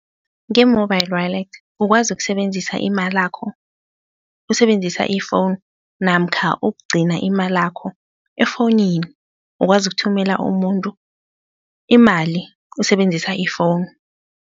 Nge-mobile wallet ukwazi ukusebenzisa imalakho usebenzisa i-phone namkha ukugcina imalakho efonini. Ukwazi ukuthumela umuntu imali usebenzisa ifowunu.